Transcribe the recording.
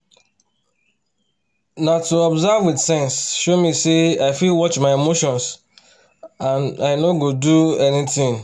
na to observe with sense show me say i fit watch my emotions and i no go do anything